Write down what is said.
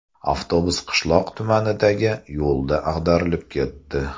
Avtobus qishloq tumanidagi yo‘lda ag‘darilib ketdi.